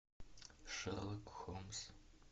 шерлок холмс